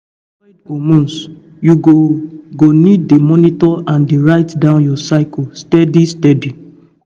to avoid hormones you go go need dey monitor and dey write down your cycle steady steady